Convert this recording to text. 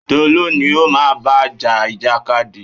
Tolú ni o má bá ja ìjàkadì!